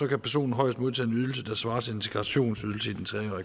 kan personen højst modtage en ydelse der svarer til integrationsydelsen i den tre